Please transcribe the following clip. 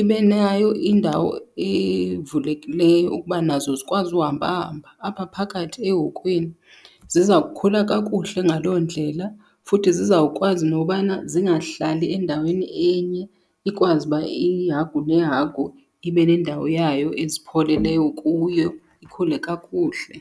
Ibe nayo indawo evulekileyo ukuba nazo zikwazi uhamba hamba apha phakathi ehokweni. Ziza kukhula kakuhle ngaloo ndlela, futhi zizawukwazi nobana zingahlali endaweni enye, ikwazi uba ihagu nehagu ibe nendawo yayo ezipholeleyo kuyo ikhule kakuhle.